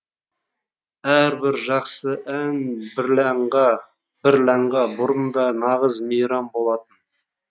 әрбір жақсы ән бірләнға бұрын да нағыз мейрам болатын